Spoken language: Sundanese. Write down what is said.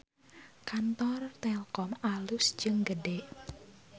Kantor Telkom alus jeung gede